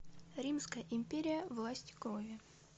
римская империя власть крови